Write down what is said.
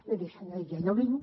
miri senyor illa jo vinc